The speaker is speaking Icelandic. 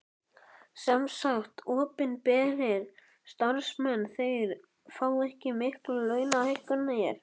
Sem sagt að opinberir starfsmenn þeir fá ekki miklar launahækkanir?